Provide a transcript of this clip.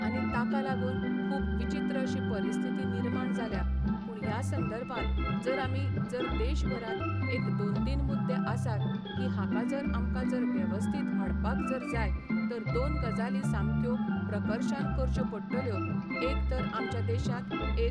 आनी ताका लागून खूब विचीत्र अशी परिस्थिती निर्माण जाल्या पूण ह्या संदर्भात जर आमी जर देशभरांत एक दोन तीन मुद्दे आसात की हाका जर आमकां जर वेवस्थींत हाडपाक जर जाय तर दोन गजाली सामक्यो प्रकर्शान करच्यो पडटल्यो एक तर आमच्या देशांत एक